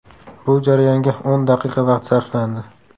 Bu jarayonga o‘n daqiqa vaqt sarflandi.